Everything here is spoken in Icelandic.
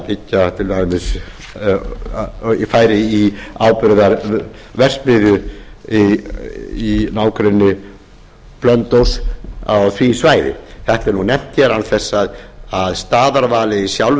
byggja til dæmis færi í áburðarverksmiðju í nágrenni blönduóss á því svæði þetta er nú nefnt hér án þess að staðarvalið í sjálfu